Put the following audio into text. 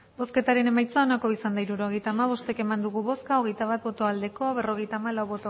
hirurogeita hamabost eman dugu bozka hogeita bat bai berrogeita hamalau